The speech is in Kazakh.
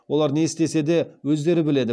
олар не істесе де өздері біледі